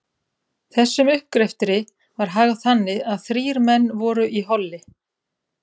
Þessum uppgreftri var hagað þannig, að þrír menn voru í holli